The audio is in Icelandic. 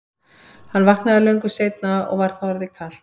Hann vaknaði löngu seinna og var þá orðið kalt.